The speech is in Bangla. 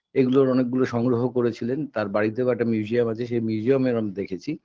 এগুলোর অনেকগুলো সংগ্রহ করেছিলেন তার বাড়িতেও একটা museum আছে সে museum -এ এরম দেখেছি